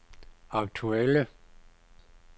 aktuelle